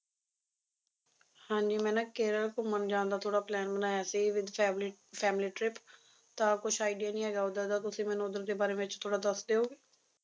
ਹਾਂਜੀ ਮੈਂ ਨਾ ਕੇਰਲ ਘੁੰਮਣ ਜਾਣ ਦਾ ਥੋੜਾ plain ਬਣਾਇਆ ਸੀ with family family trip ਤਾਂ ਕੁਛ idea ਨੀ ਹੈਗਾ ਉਧਰ ਦਾ ਤੁਸੀ ਮੈਨੂੰ ਉਧਰ ਦੇ ਬਾਰੇ ਵਿੱਚ ਥੋੜਾ ਦੱਸ ਦਿਓਗੇ